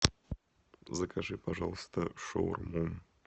закажи пожалуйста шаурму